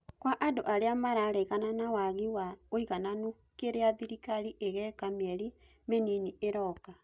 Kwa andu arĩa mararegana na wagi wa ũigananu kĩria thirikari ĩgeka mĩeri mĩnini ĩroka